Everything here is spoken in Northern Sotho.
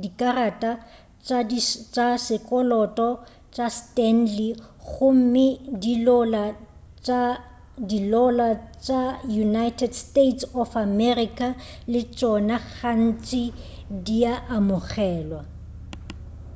dikarata tša sekoloto tša stanley gomme dilola tša united states of america le tšona gantši di a amogelwa